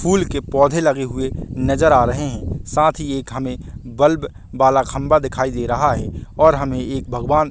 फूल के पौधे लगे हुए नज़र आ रहै है साथ ही एक हमे बल्ब बाला खम्बा दिखाई दे रहा है और हमे एक भगवान--